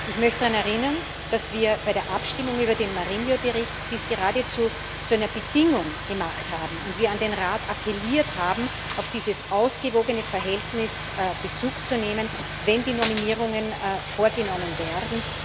Ich möchte daran erinnern, dass wir das bei der Abstimmung über den Bericht Marinho e Pinto geradezu zu einer Bedingung gemacht haben und wir an den Rat appelliert haben, auf dieses ausgewogene Verhältnis Bezug zu nehmen, wenn die Nominierungen vorgenommen werden.